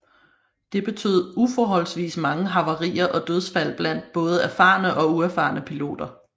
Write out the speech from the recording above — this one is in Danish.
Det betød uforholdsvis mange havarier og dødsfald blandt både erfarne og uerfarne piloter